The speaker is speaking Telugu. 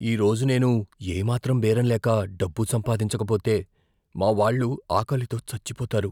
ఈరోజు నేను ఏ మాత్రం బేరం లేక, డబ్బు సంపాదించకపోతే, మా వాళ్ళు ఆకలితో చచ్చిపోతారు.